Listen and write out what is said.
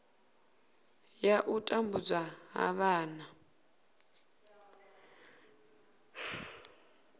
ya u tambudzwa ha vhana